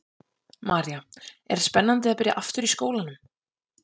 María: Er spennandi að byrja aftur í skólanum?